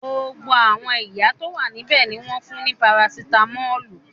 Gbogbo àwọn ìyá tó wà níbẹ̀ ni wọ́n fún ní parasitámọ́lù.